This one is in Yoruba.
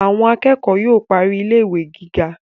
Àwọn akẹ́kọ̀ọ́ yóò parí ilé ìwé gíga